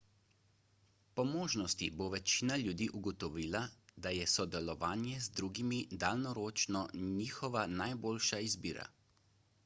po možnosti bo večina ljudi ugotovila da je sodelovanje z drugimi daljnoročno njihova najboljša izbira